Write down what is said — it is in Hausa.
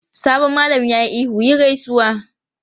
Sabon malamin ya yi ihu "yi gaisuwa!"